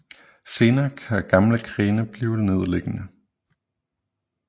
Senere kan gamle grene blive nedliggende